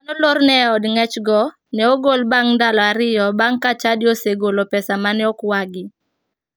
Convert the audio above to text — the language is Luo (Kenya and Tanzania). Ji mane olorne e od ng'echgo ne ogol bang' ndalo ariyo bang' ka chadi esegolo pesa mane okwagi.